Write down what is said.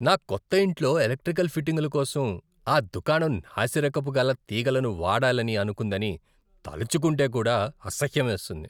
నా కొత్త ఇంట్లో ఎలెక్ట్రికల్ ఫిట్టింగుల కోసం ఆ దుకాణం నాసిరకపు గల తీగలను వాడాలని అనుకుందని తలుచుకుంటే కూడా అసహ్యమేస్తుంది.